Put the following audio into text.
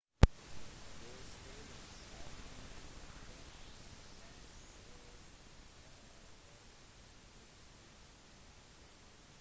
dødstallene er minst 15 et tall som er forventet å stige